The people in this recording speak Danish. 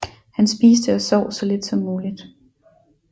Han spiste og sov så lidt som muligt